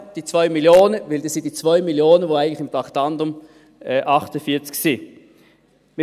Denn es sind die 2 Mio. Franken, die eigentlich unter dem Traktandum 48 sind.